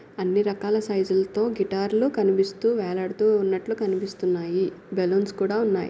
అన్నీ రకాల సైజ్ లాతో గిటార్ లు కనిపిస్తూ వేలాడుతు ఉన్నట్లు కనిపిస్తున్నాయి. బెలూన్స్ కూడా ఉన్నాయ్.